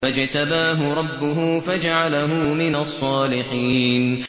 فَاجْتَبَاهُ رَبُّهُ فَجَعَلَهُ مِنَ الصَّالِحِينَ